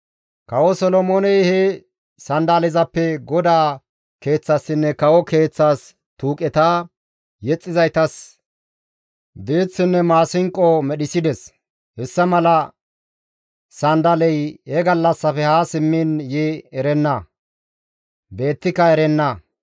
Kawo Solomooney he sanddalezappe GODAA Keeththaassinne kawo keeththas tuuqeta, yexxizaytas diiththinne maasinqo medhissides. Hessa mala sanddaley he gallassafe haa simmiin yi erenna; beettika erenna.)